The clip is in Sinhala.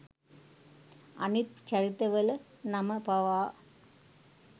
අනිත් චරිත වල නම පවා